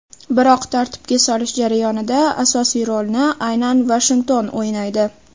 Biroq tartibga solish jarayonida asosiy rolni aynan Vashington o‘ynaydi.